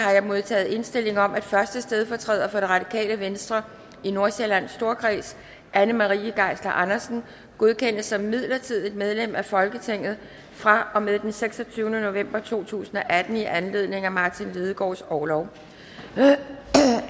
har jeg modtaget indstilling om at første stedfortræder for det radikale venstre i nordsjællands storkreds anne marie geisler andersen godkendes som midlertidigt medlem af folketinget fra og med den seksogtyvende november to tusind og atten i anledning af martin lidegaards orlov